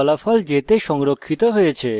ফলাফল j the সংরক্ষিত হয়েছে